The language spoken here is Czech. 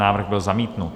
Návrh byl zamítnut.